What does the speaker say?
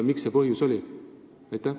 Mis see põhjus oli?